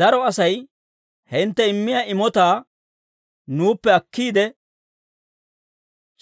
Daro Asay hintte immiyaa imotaa nuuppe akkiide,